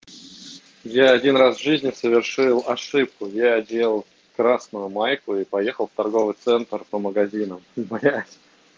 я один раз в жизни совершил ошибку я одел красную майку и поехал в торговый центр по магазинам блять